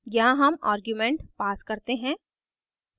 यहाँ हम argument pass करते हैं